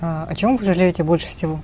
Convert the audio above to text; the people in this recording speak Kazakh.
эээ о чем вы жалеете больше всего